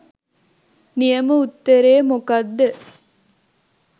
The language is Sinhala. නියම උත්තරේ මොකක්ද?